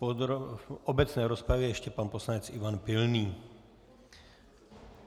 V obecné rozpravě ještě pan poslanec Ivan Pilný.